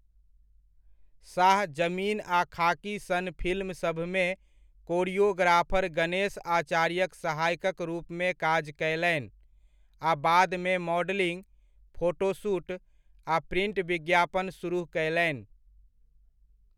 शाह 'जमीन' आ 'खाकी' सन फिल्मसभमे कोरियोग्राफर गणेश आचार्यक सहायकक रूपमे काज कयलनि आ बादमे मॉडलिंग, फोटो शूट आ प्रिन्ट विज्ञापन सुरुह कयलनि।